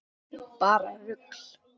Bara rugl.